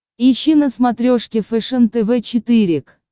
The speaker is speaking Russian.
ищи на смотрешке фэшен тв четыре к